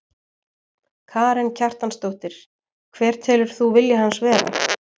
Karen Kjartansdóttir: Hver telur þú vilja hans vera?